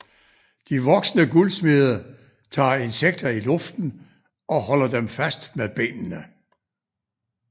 De voksne guldsmede tager insekter i luften og holder dem fast med benene